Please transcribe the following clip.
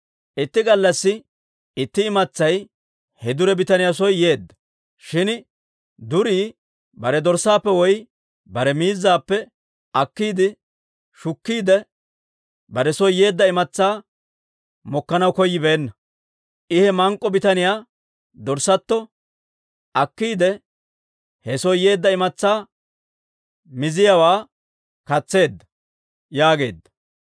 «Itti gallassi itti imatsay he dure bitaniyaa soo yeedda; shin durii bare dorssaappe woy bare miizzaappe akkiide shukkiide, bare soo yeedda imatsaa mokkanaw koyyibeenna. I he mank'k'o bitaniyaa dorssatto akkiide, he soo yeedda imatsaa miziyaawaa katseedda» yaageedda.